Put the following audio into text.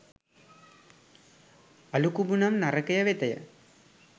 අළුකුඹු නම් නරකය වෙතය.